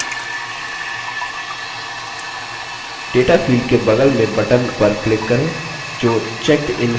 data field के बगल में button पर click करें जो checkedin है